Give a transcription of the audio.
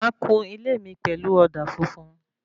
Máa kún ilé mí pẹlú òdà funfun